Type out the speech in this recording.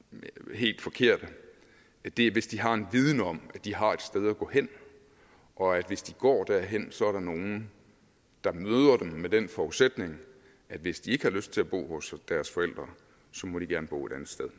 helt forkerte det er hvis de har en viden om at de har et sted at gå hen og at hvis de går derhen så er der nogle der møder dem med den forudsætning at hvis de ikke har lyst til at bo hos deres forældre må de gerne bo et andet sted